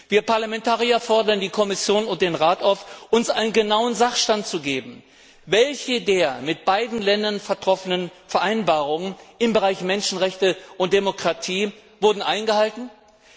Wir Parlamentarier fordern die Kommission und den Rat auf, uns einen genauen Sachstand zu geben, welche der mit beiden Ländern getroffenen Vereinbarungen im Bereich Menschenrechte und Demokratie eingehalten wurden.